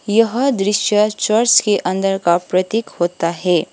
यह दृश्य चर्च के अंदर का प्रतीक होता है।